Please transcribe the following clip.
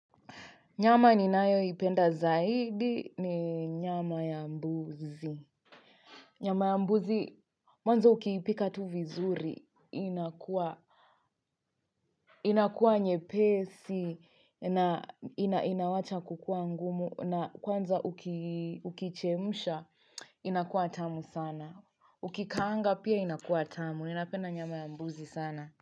Nyama ni nayo ipenda zaidi ni nyama ya mbuzi. Nyama ya mbuzi, mwanzo ukiipika tu vizuri, inakua nye pesi, inawacha kukua ngumu, na kwanza ukichemsha, inakua tamu sana. Ukikaanga pia inakua tamu, ninapenda nyama ya mbuzi sana.